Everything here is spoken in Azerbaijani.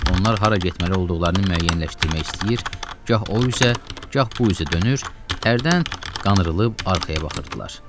Onlar hara getməli olduqlarını müəyyənləşdirmək istəyir, gah o üzə, gah bu üzə dönür, hərdən qanrılıb arxaya baxırdılar.